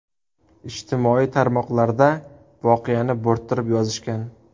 Ijtimoiy tarmoqlarda voqeani bo‘rttirib yozishgan.